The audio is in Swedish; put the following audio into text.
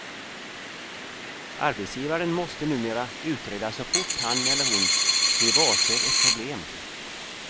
Arbetsgivaren måste numera utreda så fort han eller hon blir varse ett problem.